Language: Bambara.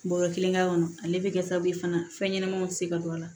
Bɔɔrɔ kelen ka kɔnɔ ale bɛ kɛ sababu ye fana fɛnɲɛnɛmaninw tɛ se ka don a la